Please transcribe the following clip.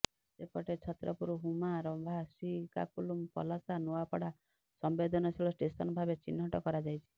ସେପଟେ ଛତ୍ରପୁର ହୁମା ରମ୍ଭା ଶ୍ରୀକାକୁଲମ ପଲାସା ନୂଆପଡା ସମ୍ବେଦନଶୀଳ ଷ୍ଟେସନ ଭାବେ ଚିହ୍ନଟ କରାଯାଇଛି